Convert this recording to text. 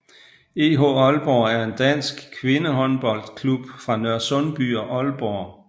EH Aalborg er en dansk kvindehåndboldklub fra Nørresundby og Aalborg